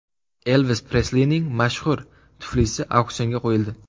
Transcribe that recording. Elvis Preslining mashhur tuflisi auksionga qo‘yildi.